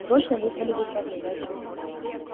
срочно вызвали в управление